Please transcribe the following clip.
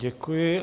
Děkuji.